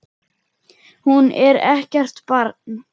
Hún er ekkert barn.